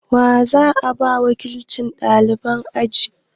Wa za a ba wakilcin ɗaliban aji?